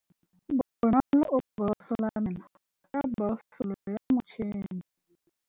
Bonolô o borosola meno ka borosolo ya motšhine.